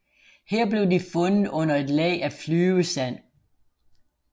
Her blev de fundet under et lag af flyvesand